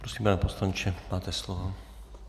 Prosím, pane poslanče, máte slovo.